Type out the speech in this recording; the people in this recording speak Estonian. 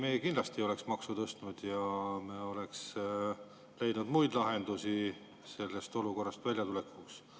Ei, me kindlasti ei oleks maksu tõstnud, me oleks leidnud muid lahendusi sellest olukorrast väljatulekuks.